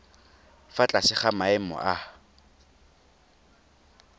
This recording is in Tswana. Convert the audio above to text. fa tlase ga maemo a